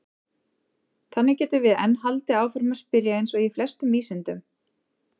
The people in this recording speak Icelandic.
Þannig getum við enn haldið áfram að spyrja eins og í flestum vísindum!